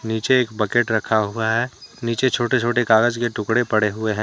नीचे एक बकेट रखा हुआ है नीचे छोटे-छोटे कागज के टुकड़े पड़े हुए हैं।